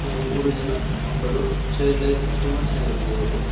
ಇವರು ಮೂರು ಜನ ಮಕ್ಕಳು ಚೈಲ್ಡ್ ಲೈಫ್ ತುಂಬ ಚೆನಾಗ್ ಇರ್ತದೆ ಇವ್ರುದು.